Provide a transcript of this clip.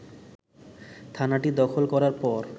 থানাটি দখল করার পর